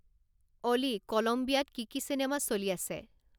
অ'লি কোলম্বীয়াত কি কি চিনেমা চলি আছে